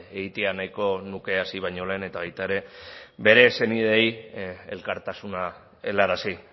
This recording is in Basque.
egitea nahiko nuke hasi baino lehen eta baita ere bere senideei elkartasuna helarazi